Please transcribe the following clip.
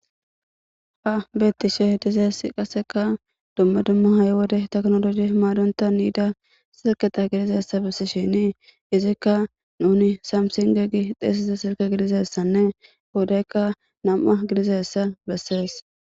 Ha bettishe hidizes qasseka dumma dumma hay wode teknoloji imaadonta niida sirketa gidizassa bissi shini izikka nuni samsinge gi xeesiza sirke gidizassanne wodaykka nam7a gidizassa bessees.